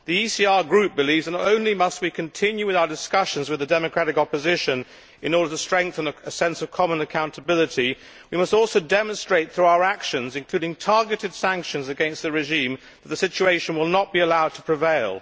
The ECR Group believes that not only must we continue with our discussions with the democratic opposition in order to strengthen a sense of common accountability, we must also demonstrate through our actions, including targeted sanctions against the regime, that the situation will not be allowed to prevail.